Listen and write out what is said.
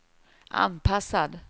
anpassad